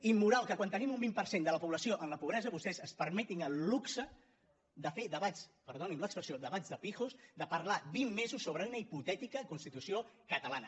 és immoral que quan tenim un vint per cent de la població en la pobresa vostès es permetin el luxe de fer debats perdonin l’expressió de pijos de parlar vint mesos sobre una hipotètica constitució catalana